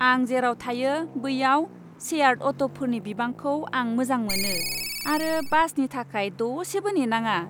आं जेराव थायो बैयाव शेयार्ड अट'फोरनि बिबांखौ आं मोजां मोनो आरो बासनि थाखाय दसेबो नेनाङा।